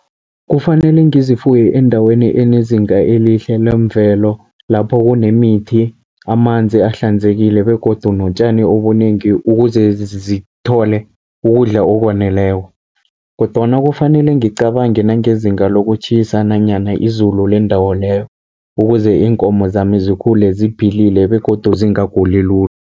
Kufanele ngizifuye endaweni enezinga elihle lemvelo, lapho kunemithi, amanzi ahlanzekile begodu notjani obunengi, ukuze zithole ukudla okwaneleko. Kodwana kufanele ngicabange nangezinga lokutjhisa, nanyana izulu lendawo leyo, ukuze iinkomo zami zikhule ziphilile begodu zingaguli lula.